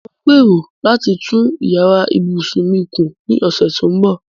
Mò ń gbèrò láti tún yàrá ìbùsùn mi kùn ní ọ̀sẹ̀ tó ń bọ̀.